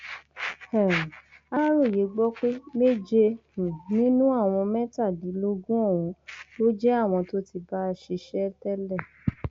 ó ní àwọn tíṣà àwọn òṣìṣẹ ìjọba ìbílẹ àwọn òṣìṣẹfẹyìntì àtàwọn míín ń gbowó wọn bó ti tọ sí wọn